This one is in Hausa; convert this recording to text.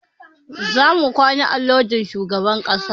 Za mu kwana a lojin shugaban ƙasa